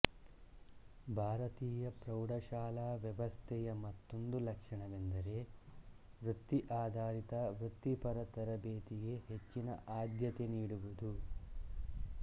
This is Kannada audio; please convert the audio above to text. ಭಾರತೀಯ ಪ್ರೌಢಶಾಲಾ ವ್ಯವಸ್ಥೆಯ ಮತ್ತೊಂದು ಲಕ್ಷಣವೆಂದರೆ ವೃತ್ತಿ ಆಧಾರಿತ ವೃತ್ತಿಪರ ತರಭೇತಿಗೆ ಹೆಚ್ಚಿನ ಆದ್ಯತೆ ನೀಡುವುದು